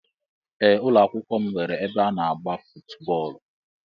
Ee ụlọakwụkwọ m nwere ebe ana agba footu bóólú.